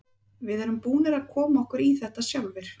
Við erum búnir að koma okkur í þetta sjálfir.